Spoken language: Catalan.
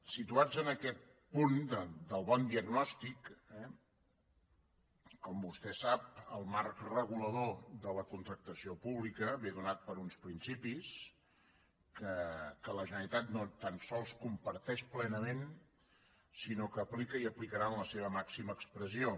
situats en aquest punt del bon diagnòstic eh com vostè sap el marc regulador de la contractació pública ve donat per uns principis que la generalitat no tan sols comparteix plenament sinó que aplica i aplicarà en la seva màxima expressió